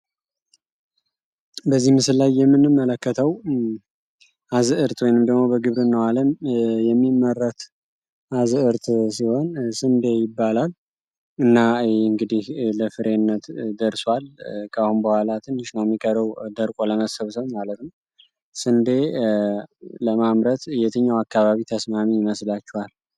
በዚህ ምስላይ የምንም መለከተው አዝ እርት ወንምደሞ በግብር ነኋለም የሚመረት አዝ እርት ሲሆን ስንዴ ይባላል እና እንግዲህ ለፍሬነት ደርሷል ከአሁን በኋላትን ሽኖሚከረው ደርቆ ለመሰብሰውን ማለትን ስንዴ ለማምረት እየትኛው አካባቢ ተስማሚ መስላቸዋል